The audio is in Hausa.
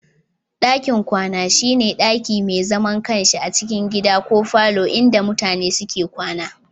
Dakin Kwana shi ne daki mai zaman kansa a cikin gida ko falo inda mutane suke kwana.